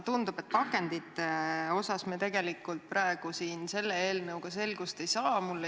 Tundub, et pakendite osas me tegelikult selle eelnõu menetlusel selgust ei saa.